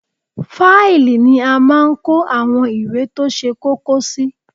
Fáìlì ni a máa ń kó àwọn ìwé tó ṣe kókó sí